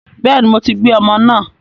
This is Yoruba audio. Bẹ́ẹ̀ni, mo ti gbé ọmọ náà